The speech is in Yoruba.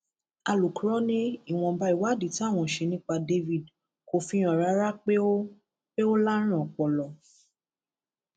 alūkró ni ìwọnba ìwádìí táwọn ṣe nípa david kò fi hàn rárá pé ó pé ó lárùn ọpọlọ